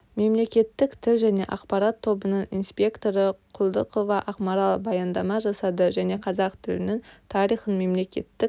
мемлекеттік тіл және ақпарат тобының инспекторы құлдықова ақмарал баяндама жасады және қазақ тілінің тарихын мемлекеттік